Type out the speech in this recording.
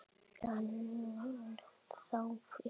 Ennþá fiskur.